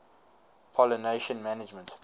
pollination management